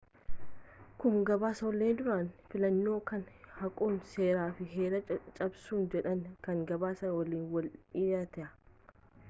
kun gabaasaalee duraanii fillannoo kana haquun seera fi heera cabsuudha jedhanii kan gabaasan waliin wal dhiita